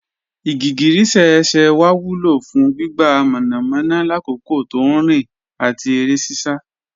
Igigirísẹ̀ ẹ̀ṣẹ́ wa wúlọ̀ fún gbígbà mọ́namọ́na làkòkò tó nrin àti ere sisa